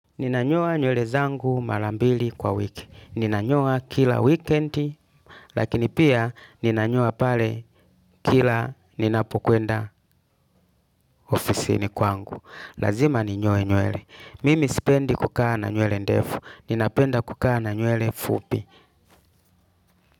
Ninanyoa nywele zangu marambili kwa wiki. Ninanyoa kila wikendi. Lakini pia ninanyoa pale kila ninapokwenda ofisi ni kwangu. Lazima ninyoa nywele. Mimi sipendi kukaa na nywele ndefu. Ninapenda kukaa na nywele fupi.